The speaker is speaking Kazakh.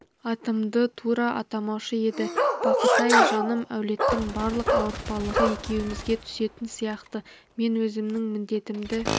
атымды тура атамаушы еді бақыт-ай жаным әулеттің барлық ауыртпалығы екеумізге түсетін сияқты мен өзімнің міндетімді